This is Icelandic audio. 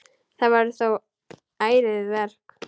Það verður þó ærið verk.